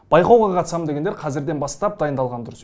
байқауға қатысамын дегендер қазірден бастап дайындалғаны дұрыс